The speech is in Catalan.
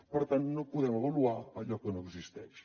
per tant no podem avaluar allò que no existeix